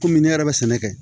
Kɔmi ne yɛrɛ bɛ sɛnɛ kɛ